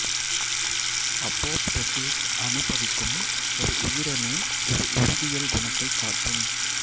apoptosis அணுபவிக்கும் ஒரு உயிரணு ஒரு உருவியல் குணத்தை காட்டும்